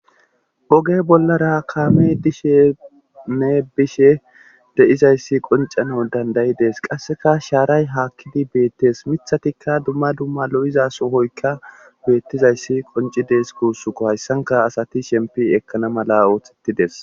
Oge bollara kaamey diishshnne bishe de'izayssi qoncana dandayi dees qasseka shaaray haakkidi beettes miithathtikka dumma dumma lo'iza sohoykka beettizayssi qoncidees gussukko hayssanka asati sheempi ekkana mala oothettidees